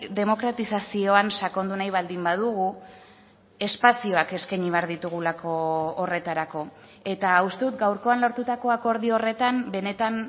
demokratizazioan sakondu nahi baldin badugu espazioak eskaini behar ditugulako horretarako eta uste dut gaurkoan lortutako akordio horretan benetan